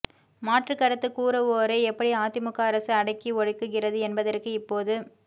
மாற்றுக் கருத்து கூறுவோரை எப்படி அதிமுக அரசு அடக்கி ஒடுக்குகிறது என்பதற்கு இப்போது